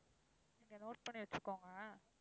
நீங்க note பண்ணி வச்சுகோங்க.